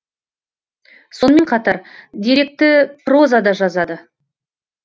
сонымен қатар деректі проза да жазады